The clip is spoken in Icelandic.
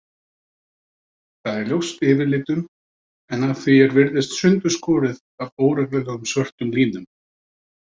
Það er ljóst yfirlitum en að því er virðist sundurskorið af óreglulegum, svörtum línum.